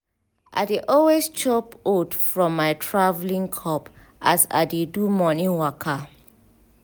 i dey always chop oat from my traveling cup as i dey do morning waka.